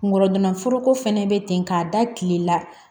Kungolo gana foroko fɛnɛ be ten k'a da kile la